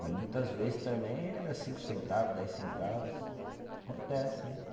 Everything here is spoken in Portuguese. Mas muitas vezes também era cinco centavo, dez centavos, acontece, né?